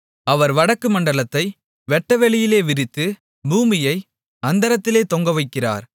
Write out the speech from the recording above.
அவர் வடக்குமண்டலத்தை வெட்டவெளியிலே விரித்து பூமியை அந்தரத்திலே தொங்கவைக்கிறார்